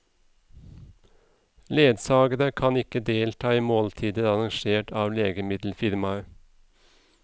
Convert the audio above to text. Ledsagere kan ikke delta i måltider arrangert av legemiddelfirmaet.